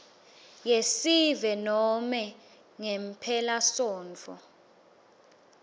yesive nobe ngemphelasontfo